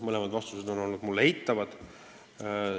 Vastus on olnud eitav.